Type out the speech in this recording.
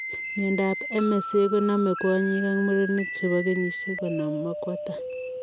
Miondop MSA koname kwonyik ak murenik chepoo kenyisiek konom akwo tai.